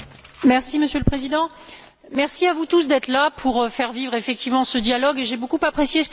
Monsieur le Président, merci à vous tous d'être là pour faire vivre effectivement ce dialogue et j'ai beaucoup apprécié ce que M.